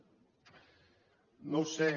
no ho sé